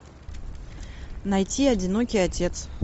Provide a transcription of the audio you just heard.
найти одинокий отец